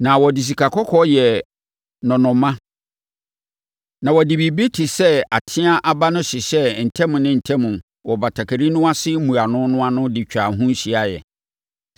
Na wɔde sikakɔkɔɔ yɛɛ nnɔnnɔmma na wɔde biribi te sɛ ateaa aba no hyehyɛɛ ntam ne ntam wɔ batakari no ase mmuano no ano de twaa ho hyiaeɛ.